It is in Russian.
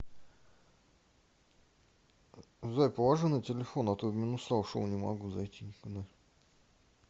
зай положи на телефон а то в минуса ушел не могу зайти никуда